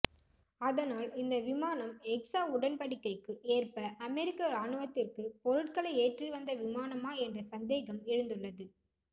அதனால் இந்த விமானம் எக்ஸா உடன்டிக்ைக்கு ஏற்ப அமெரிக்க இராணுவத்திற்கு பொருட்களை ஏற்றி வந்த விமானமா என்ற சந்தேகம் எழுந்துள்ளது